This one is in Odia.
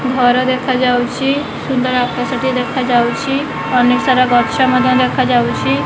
ଘର ଦେଖାଯାଉଛି ସୁନ୍ଦର ଆକାଶ ଟିଏ ଦେଖାଯାଉଛି ଅନେକ ସାରା ଗଛ ମଧ୍ୟ ଦେଖାଯାଉଛି।